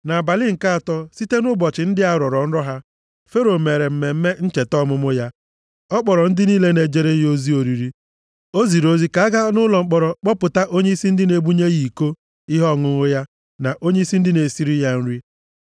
Nʼabalị nke atọ, site nʼụbọchị ndị a rọrọ nrọ ha, Fero mere mmemme ncheta ọmụmụ ya. Ọ kpọrọ ndị niile na-ejere ya ozi oriri. O ziri ozi ka a gaa nʼụlọ mkpọrọ kpọpụta onyeisi ndị na-ebunye ya iko ihe ọṅụṅụ na onyeisi ndị na-esiri ya nri.